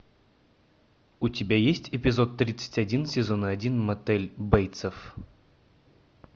у тебя есть эпизод тридцать один сезона один мотель бейтсов